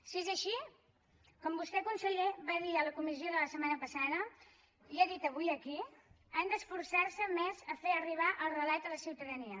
si és així com vostè conseller va dir en la comissió de la setmana passada i ha dit avui aquí han d’esforçar se més a fer arribar el relat a la ciutadania